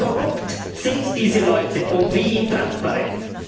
Wie korrupt sind diese Leute und wie intransparent?